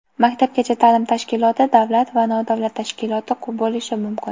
maktabgacha taʼlim tashkiloti davlat va nodavlat tashkiloti bo‘lishi mumkin.